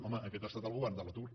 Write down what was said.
home aquest ha estat el govern de l’atur